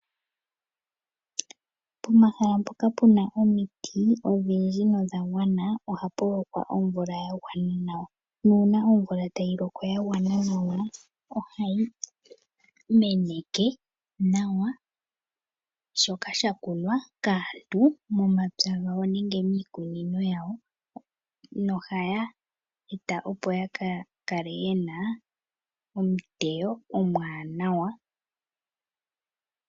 Pomahala mpoka puna omiti odhindji nodha gwana ohapu lokwa omvula yagwana nawa . Nuuna omvula tayi loko yagwana nawa ohayi meneke nawa shoka shakunwa kaantu momapya gawo nenge miikunino yawo. No haya eta opo yaka kale yena omuteyo omwaanawa.